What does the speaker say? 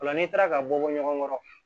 Ola n'i taara ka bɔ bɔ ɲɔgɔn kɔrɔ